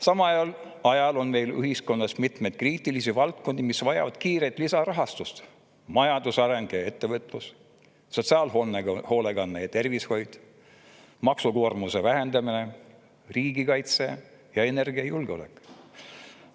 Samal ajal on meil ühiskonnas mitmeid kriitilisi valdkondi, mis vajavad kiiret lisarahastust: majandusareng ja ettevõtlus, sotsiaalhoolekanne ja tervishoid, maksukoormuse vähendamine, riigikaitse ja energiajulgeolek.